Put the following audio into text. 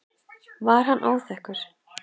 Var hann óþekkur?